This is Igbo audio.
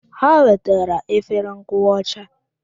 Ha wetara efere nkụwa ọcha.